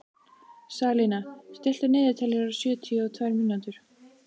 Salína, stilltu niðurteljara á sjötíu og tvær mínútur.